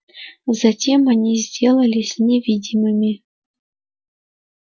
затем они сделались невидимыми